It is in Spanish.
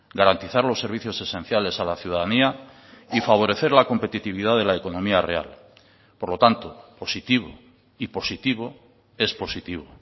garantizar los servicios esenciales a la ciudadanía y favorecer la competitividad de la economía real por lo tanto positivo y positivo es positivo